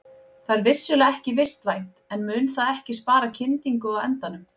Það er vissulega ekki vistvænt en mun það ekki spara kyndingu á endanum?